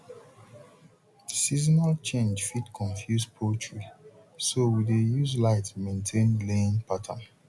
seasonal change fit confuse poultry so we dey use light maintain laying pattern